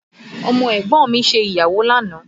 Ọmọ ẹ̀gbọ́n mi ṣe ìgbéyàwó lánàá